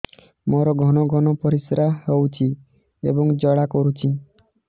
ମୋର ଘନ ଘନ ପରିଶ୍ରା ହେଉଛି ଏବଂ ଜ୍ୱାଳା କରୁଛି